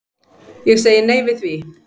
Ég segi nei við því.